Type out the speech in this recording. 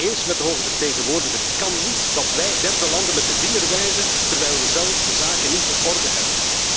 Ik ben het eens met de hoge vertegenwoordiger het kan niet dat wij derde landen met de vinger wijzen terwijl we zelf de zaken niet op orde hebben.